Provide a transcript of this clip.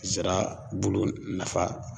Zira bulu nafa